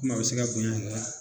a bɛ se ka bonya